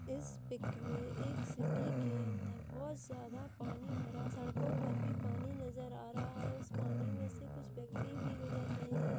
इस पिक में एक सिटी के अंदर बहुत ज्यादा पानी भरा सड़कों पर भी पानी नजर आ रहा है उस पानी में से कुछ व्यक्ति भी गुजर रहे है।